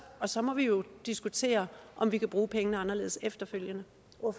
og så må vi jo diskutere om vi kan bruge pengene anderledes efterfølgende